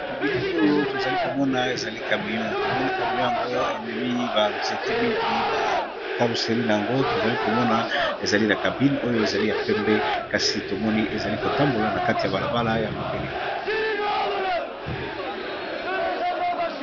Na bilili oyo, tozali komona ezali kamio. To moni kamio yango, ememi ba nzete mingi na carousserie na yango. To zali komona ezali na cabine oyo ezali ya pembe. Kasi tomoni ezali kotambola na kati ya balabala ya mabele.